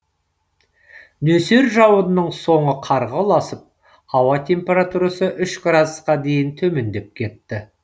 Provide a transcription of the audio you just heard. нөсер жауынның соңы қарға ұласып ауа температурасы үш градусқа дейін төмендеп кетті